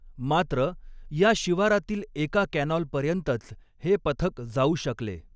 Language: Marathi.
मात्र, या शिवारातील एका कॅनॉलपर्यंतच हे पथक जाऊ शकले.